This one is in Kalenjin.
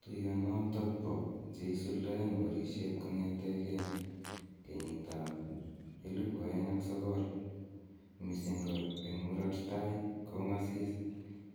Tuiyonoton bo che isuldaen borisiet kong'eten 2009, mising ko en Murot tai- kong'asis